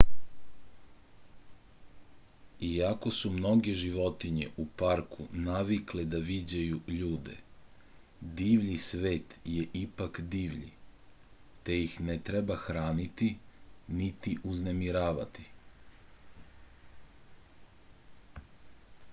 iako su mnoge životinje u parku navikle da viđaju ljude divlji svet je ipak divlji te ih ne treba hraniti niti uznemiravati